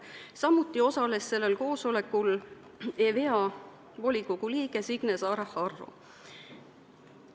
Samuti osales sellel koosolekul EVEA volikogu liige Signe Sarah Arro.